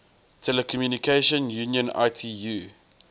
telecommunication union itu